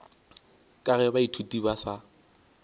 ka ge baithuti ba sa